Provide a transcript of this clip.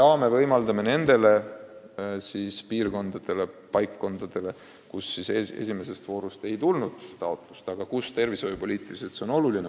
Ka võimaldame teises voorus raha taotleda paikkondadel, kust esimeses voorus taotlust ei tulnud, aga kus keskuse olemasolu on tervishoiupoliitiliselt oluline.